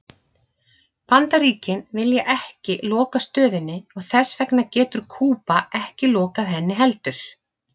Bandaríkin vilja ekki loka stöðinni og þess vegna getur Kúba ekki lokað henni heldur.